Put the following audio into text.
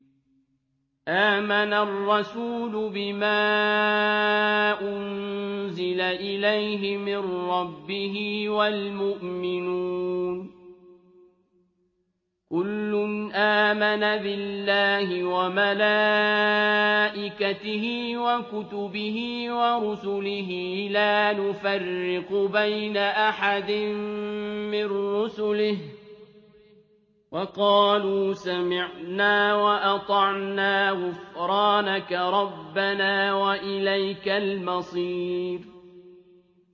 آمَنَ الرَّسُولُ بِمَا أُنزِلَ إِلَيْهِ مِن رَّبِّهِ وَالْمُؤْمِنُونَ ۚ كُلٌّ آمَنَ بِاللَّهِ وَمَلَائِكَتِهِ وَكُتُبِهِ وَرُسُلِهِ لَا نُفَرِّقُ بَيْنَ أَحَدٍ مِّن رُّسُلِهِ ۚ وَقَالُوا سَمِعْنَا وَأَطَعْنَا ۖ غُفْرَانَكَ رَبَّنَا وَإِلَيْكَ الْمَصِيرُ